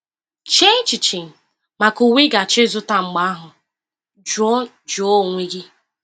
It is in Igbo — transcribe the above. Chee echiche maka uwe ị ga-achọ ịzụta. Mgbe ahụ jụọ jụọ onwe gị: